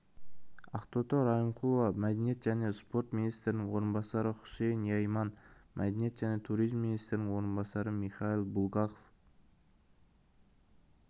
ақтоты райымқұлова мәдениет және спорт министрінің орынбасары хусейн йайман мәдениет және туризм министрінің орынбасары михаил булгаков